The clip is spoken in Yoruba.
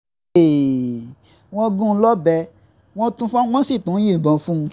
wọ́n gún un lọ́bẹ̀ um wọ́n sì tún yìnbọn fún un um